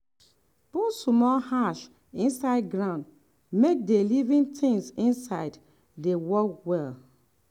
put small ash inside ground make the living things inside dey work well.